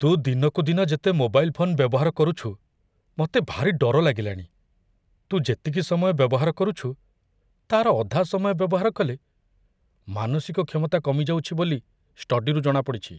ତୁ ଦିନକୁ ଦିନ ଯେତେ ମୋବାଇଲ୍ ଫୋନ୍ ବ୍ୟବହାର କରୁଛୁ ମତେ ଭାରି ଡର ଲାଗିଲାଣି । ତୁ ଯେତିକି ସମୟ ବ୍ୟବହାର କରୁଛୁ , ତା'ର ଅଧା ସମୟ ବ୍ୟବହାର କଲେ ମାନସିକ କ୍ଷମତା କମିଯାଉଛି ବୋଲି ଷ୍ଟଡିରୁ ଜଣାପଡ଼ିଛି ।